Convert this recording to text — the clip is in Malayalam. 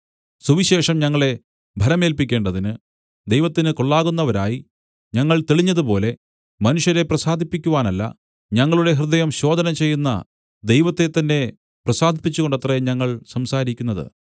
സുവിശേഷം ഞങ്ങളെ ഭരമേല്പിക്കേണ്ടതിന് ദൈവത്തിന് കൊള്ളാകുന്നവരായി ഞങ്ങൾ തെളിഞ്ഞതുപോലെ മനുഷ്യരെ പ്രസാദിപ്പിക്കുവാനല്ല ഞങ്ങളുടെ ഹൃദയം ശോധനചെയ്യുന്ന ദൈവത്തെത്തന്നെ പ്രസാദിപ്പിച്ചുകൊണ്ടത്രേ ഞങ്ങൾ സംസാരിക്കുന്നത്